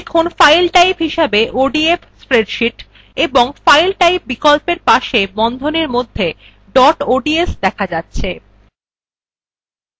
দেখুন file type হিসাবে odf spreadsheet এবং file type বিকল্পর পাশে বন্ধনীর মধ্যে dot ods দেখা যাচ্ছে